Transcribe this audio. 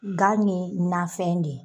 Gan nin nafɛn de